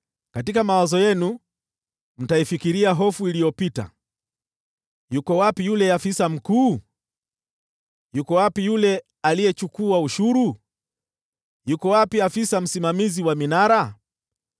Katika mawazo yenu mtaifikiria hofu iliyopita: “Yuko wapi yule afisa mkuu? Yuko wapi yule aliyechukua ushuru? Yuko wapi afisa msimamizi wa minara?”